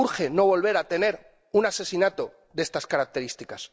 Urge no volver a tener un asesinato de estas características.